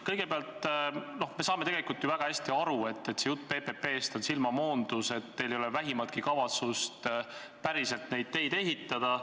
Kõigepealt, me saame tegelikult ju väga hästi aru, et see jutt PPP-st on silmamoondus, et teil ei ole vähimatki kavatsust päriselt neid teid ehitada.